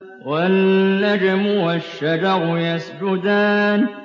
وَالنَّجْمُ وَالشَّجَرُ يَسْجُدَانِ